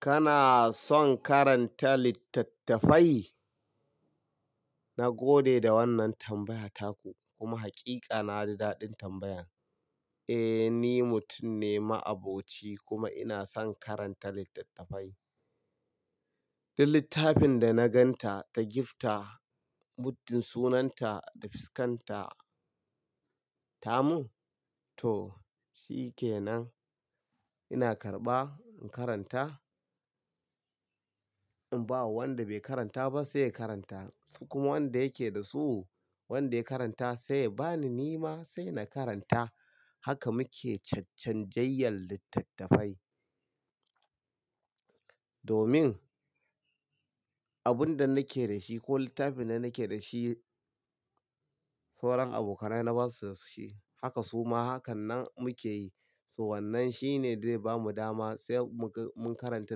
Kana son karanta littattafai? Na gode da wannan tambaya taku kuma hakika na ji daɗin tambayan. Eh, ni mutum ne ma'aboci kuma ina son karanta littattafai. Duk littafin da na ganta ka gifta muddun sunanta da fuskanta ta mun to shikenan ina karɓa in karanta. In bawa wanda bai karanta ba sai ya karanta kuma wanda yake da su wanda ya karanta sai ya bani nima sai na karanta. Haka muke chachchan jayyan littattafai. Domin abun da nake da shi ko littafin da nake da shi sauran abokanai na basu da shi. Haka suma hakannan muke yi. So wannan shine dai bamu dama sai muka-- mun karanta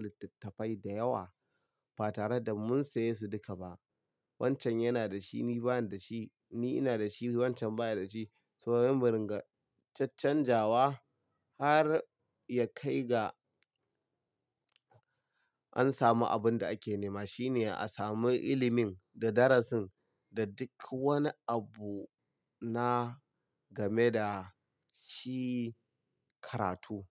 littattafai da yawa ba tare da mun saye su duka ba. Wancan yana da shi ni bani da shi, ni ina da shi wancan baya da shi. So za mu ringa chachanjawa har ya kai ga an samu abin da ake nema shine a sami ilimin da darasin da duk wani abu na game da shi karatu.